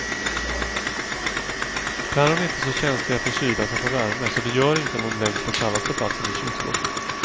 Päron är inte så känsliga för kyla som för värme så det gör inget om de läggs på kallaste platsen i kylskåpet.